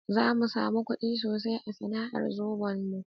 Zamu samu kuɗi sosai a sana'ar Zobon mu